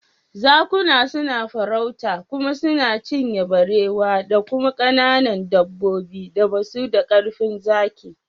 Zakuna suna farauta kuma suna cinye barewa da kuma kananun dabbobin da basu da karfin zaki.